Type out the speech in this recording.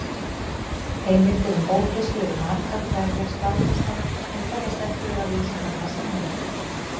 Heimildir um ófreskjur eru margar hverjar staðfestar en teljast ekki vera vísindalegar sannanir.